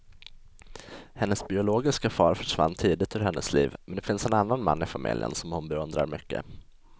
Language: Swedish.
Hennes biologiska far försvann tidigt ur hennes liv, men det finns en annan man i familjen som hon beundrar mycket.